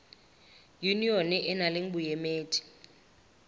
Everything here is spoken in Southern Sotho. yunione e nang le boemedi